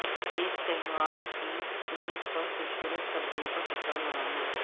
ایک تہوار کی میز پر خوبصورت سبزیوں کا ٹکڑا لگانا